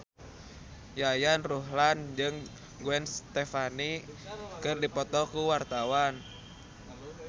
Yayan Ruhlan jeung Gwen Stefani keur dipoto ku wartawan